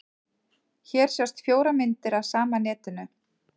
Hér sjást fjórar myndir af sama netinu.